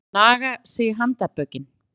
Að naga sig í handarbökin